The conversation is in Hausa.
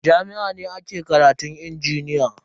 A jami'a ne ake karatun injiniya.